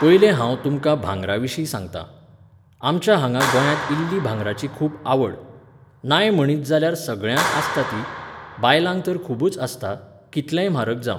पयलें हांव तुमकां भांगराविशीं सांगतां. आमच्या हांगा गोंयांत इल्ली भांगराची खूब आवड. नाय म्हणीत जाल्यार सगळ्यांक आसता ती, बायलांक तर खूबच आसता, कितलेंय म्हारग जावं.